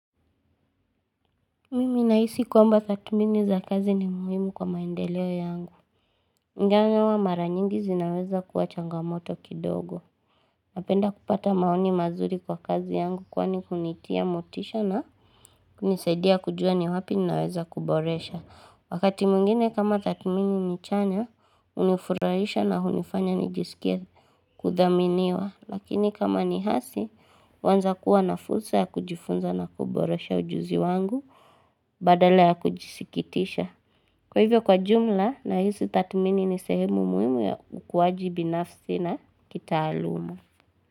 Mimi nahisi kwamba thatmini za kazi ni muhimu kwa maendeleo yangu ingawa mara nyingi zinaweza kuwa changamoto kidogo Napenda kupata maoni mazuri kwa kazi yangu kwani unitia motisha na kunisaidia kujua ni wapi ninaweza kuboresha Wakati mwingine kama thatmini ni chanya unifurahisha na unifanya nijisikie kudhaminiwa Lakini kama ni hasi huanza kuwa na fursa ya kujifunza na kuboresha ujuzi wangu Badala ya kujisikitisha Kwa hivyo kwa jumla nahisi thatmini ni sehemu muhimu ya ukuwaji binafsi na kitaaluma.